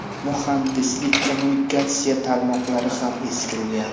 Muhandislik-kommunikatsiya tarmoqlari ham eskirgan.